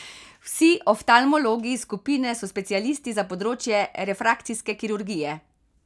Vsi oftalmologi iz skupine so specialisti za področje refrakcijske kirurgije.